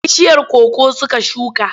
Bishiyar koko suka shuka.